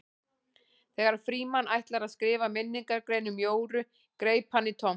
Þegar Frímann ætlaði að skrifa minningargrein um Jóru greip hann í tómt.